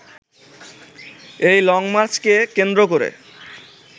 এই লংমার্চকে কেন্দ্র করে